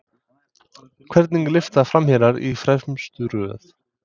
Hvernig lyfta framherjar í fremstu röð?